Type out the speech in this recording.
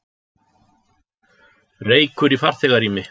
Reykur í farþegarými